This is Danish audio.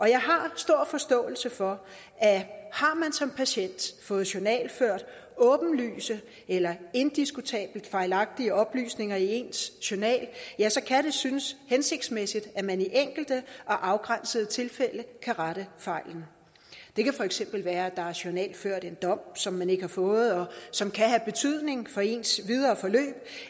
jeg har stor forståelse for at har man som patient fået journalført åbenlyst eller indiskutabelt fejlagtige oplysninger i ens journal ja så kan det synes hensigtsmæssigt at man i enkelte og afgrænsede tilfælde kan rette fejlen det kan for eksempel være at der er journalført en dom som man ikke har fået og som kan have betydning for ens videre forløb